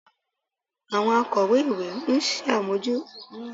Àwọn akọ̀wé-ìwé ń bójú tó àwọn ohun àmúṣọrọ̀ ilé-ìwé